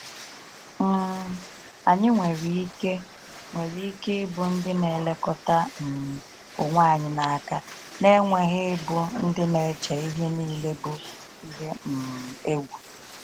um Anyị nwere ike nwere ike ịbụ ndị na-elekọta um onwe anyị n’aka, na-enweghị ịbụ ndị na-eche ihe niile bụ ihe um egwu.